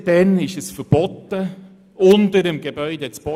Seither ist es verboten, unterhalb von Gebäuden zu bohren.